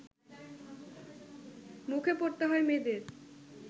মুখে পড়তে হয় মেয়েদের